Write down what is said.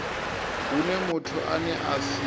hune muthu ane a si